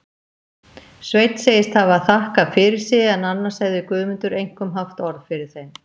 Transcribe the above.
Sveinn segist hafa þakkað fyrir sig, en annars hefði Guðmundur einkum haft orð fyrir þeim.